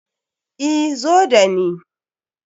Eh, zo da ni.